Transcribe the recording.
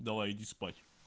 давай иди спать